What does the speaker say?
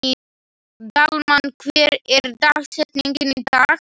Dalmann, hver er dagsetningin í dag?